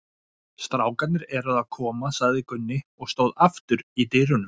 Strákarnir eru að koma, sagði Gunni og stóð aftur í dyrunum.